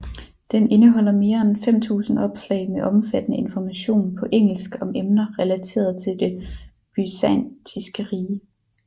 Den indeholder mere end 5000 opslag med omfattende information på engelsk om emner relateret til det byzantinske rige